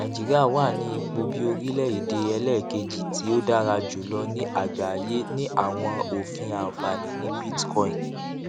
nàìjíríà wà ní ipò bí orilẹède ẹlẹẹkejì tí ó dára jùlọ ní àgbáyé ní àwọn òfin ànfàní ní bitcoin